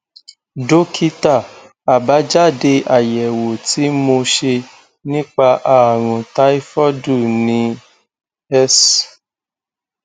dókítà àbájáde àyẹwò tí mo ṣe nípa ààrùn táífọọdù ni s